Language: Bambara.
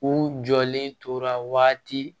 U jɔlen tora waati